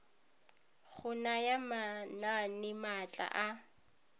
go naya manane maatla a